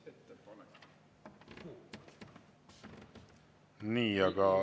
Nii, aga …